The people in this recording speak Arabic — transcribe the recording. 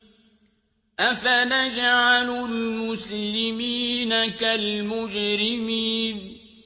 أَفَنَجْعَلُ الْمُسْلِمِينَ كَالْمُجْرِمِينَ